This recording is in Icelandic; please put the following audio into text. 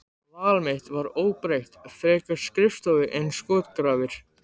Val mitt var óbreytt, frekar skrifstofu en skotgrafir.